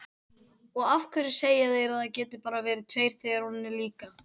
Og af hverju segja þeir að það geti bara verið tveir þegar hún er líka?